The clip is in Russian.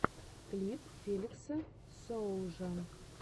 клип флекса соулжа